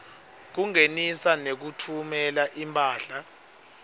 kungenisa nekutfumela imphahla